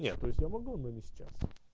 нет то есть я могу но не сейчас